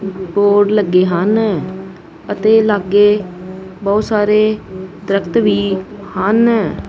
Board ਲੱਗੇ ਹਨ ਅਤੇ ਲਾਗੇ ਬਹੁਤ ਸਾਰੇ ਦਰਖਤ ਵੀ ਹਨ।